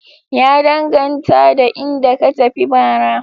Ya danganta da inda ka tafi bara.